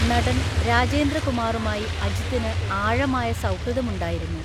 നടൻ രാജേന്ദ്രകുമാറുമായി അജിത്തിന് ആഴമായ സൗഹൃദമുണ്ടായിരുന്നു.